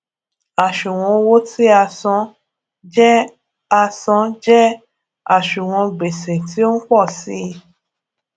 àṣùwòn owó tí a san je a san je àṣùwòn gbese ti o n po si i